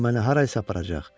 O məni hara isə aparacaq.